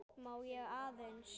Má ég aðeins!